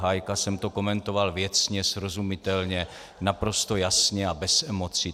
Hájka jsem to komentoval věcně, srozumitelně, naprosto jasně a bez emocí.